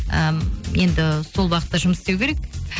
і енді сол бағытта жұмыс істеу керек